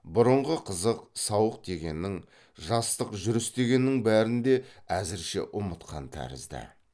бұрынғы қызық сауық дегеннің жастық жүріс дегеннің бәрін де әзірше ұмытқан тәрізді